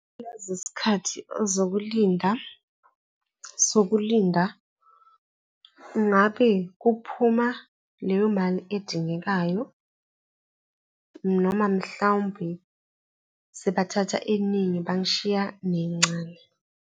Uyazi isikhathi zokulinda, sokulinda ngabe kuphuma leyo mali edingekayo noma mhlawumbe sebathatha eningi bangishiya nencane.